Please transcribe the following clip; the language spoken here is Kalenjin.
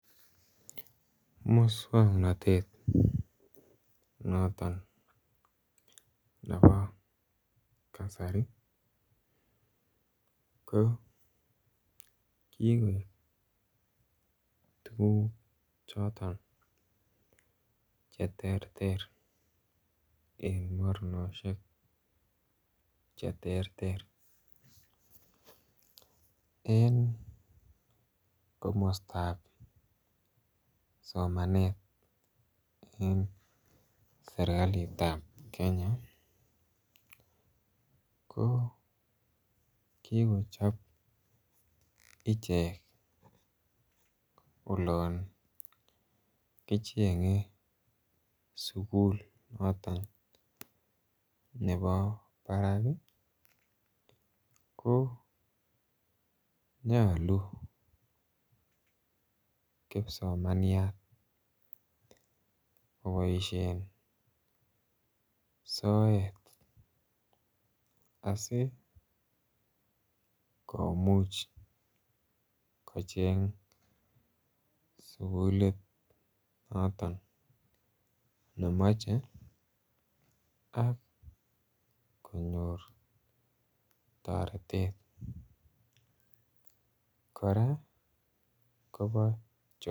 Moswoknatet noton nebo kasari ko kigoib tuguk choton Che terter en mornosiek Che terter en komostab somanet en serkalit ab Kenya ko kikochob ichek olon kichenge sukul noton nebo barak ko nyolu kipsomanyat koboisien soet asi komuch kocheng sukulit noton ne moche ak konyor toretet kora kobo